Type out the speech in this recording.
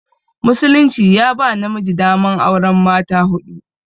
Musulunci ya ba namiji daman auran mata huɗu.